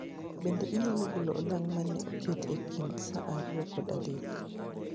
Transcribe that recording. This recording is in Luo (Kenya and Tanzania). Bende inyalo golo olang' mane oketi e kind saa ariyo kod adek